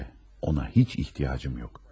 ona heç ehtiyacım yoxdur.